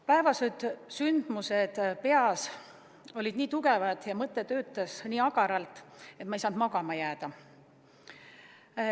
Päevased sündmused peas olid nii tugevad ja mõte töötas nii agaralt, et ma ei saanud magama jääda.